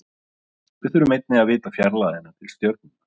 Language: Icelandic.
Við þurfum einnig að vita fjarlægðina til stjörnunnar.